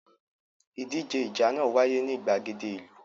Ìdíje ìjà náà wáyé ní ìgbàgede ìlú.